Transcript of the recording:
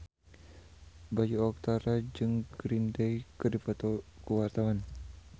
Bayu Octara jeung Green Day keur dipoto ku wartawan